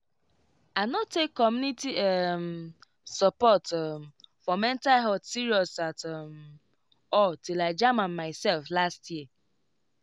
i no take community um support um for mental health serious at um all till i jam am myself last year